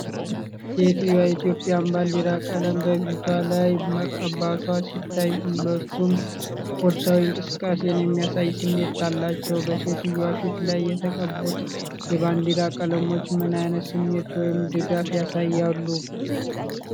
ሴትየዋ የኢትዮጵያ ባንዲራ ቀለም በፊቷ ላይ መቀባቷ ሲታይ፣ ሁለቱም ስፖርታዊ እንቅስቃሴን የሚያሳይ ስሜት አላቸውበሴትየዋ ፊት ላይ የተቀቡት የባንዲራ ቀለሞች ምን አይነት ስሜት ወይም ድጋፍ ያሳያሉ?